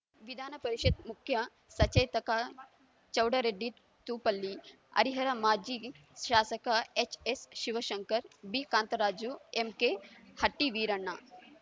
ವಿಧಾನಪರಿಷತ್‌ ಮುಖ್ಯ ಸಚೇತಕ ಚೌಡರೆಡ್ಡಿ ತೂಪಲ್ಲಿ ಹರಿಹರ ಮಾಜಿ ಶಾಸಕ ಎಚ್‌ಎಸ್‌ಶಿವಶಂಕರ್‌ ಬಿಕಾಂತರಾಜು ಎಂಕೆಹಟ್ಟಿವೀರಣ್ಣ